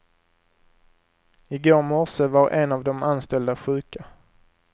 I går morse var en av de anställda sjuka.